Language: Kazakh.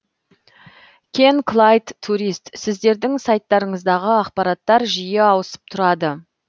кен клайд турист сіздердің сайттарыңыздағы ақпараттар жиі ауысып тұрады